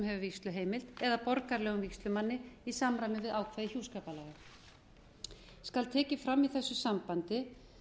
hefur vígsluheimild eða borgaralegum vígslumanni í samræmi við ákvæði hjúskaparlaga skal tekið fram í þessu sambandi